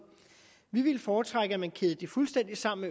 vi vil foretrække at man kæder det fuldstændig sammen